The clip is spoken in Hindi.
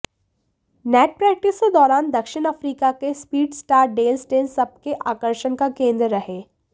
नेट प्रैक्टिस के दौरान दक्षिण अफ्रीका के स्पीडस्टार डेल स्टेन सबके आकर्षण का केंद्र रहे